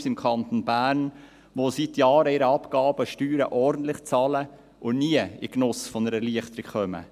Es gibt im Kanton Bern unzählige KMU, welche seit Jahren ihre Abgaben und Steuern ordentlich bezahlen und nie in den Genuss von Erleichterungen kommen.